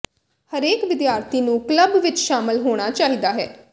ਹਰੇਕ ਵਿਦਿਆਰਥੀ ਨੂੰ ਕਲੱਬ ਵਿਚ ਸ਼ਾਮਲ ਹੋਣਾ ਚਾਹੀਦਾ ਹੈ